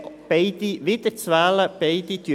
Beide sind wiederzuwählen.